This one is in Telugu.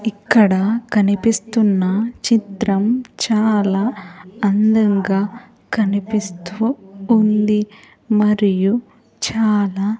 ఇక్కడ కనిపిస్తున్న చిత్రం చాలా అందంగా కనిపిస్తూ ఉంది మరియు చాలా.